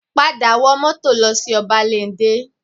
Padà wọ mọ́tò lọ sí Ọbáléndé